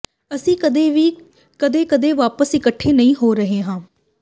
ਅਸੀਂ ਕਦੀ ਵੀ ਕਦੇ ਕਦੇ ਵਾਪਸ ਇਕੱਠੇ ਨਹੀਂ ਹੋ ਰਹੇ ਹਾਂ